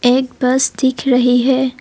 एक बस दिख रही है।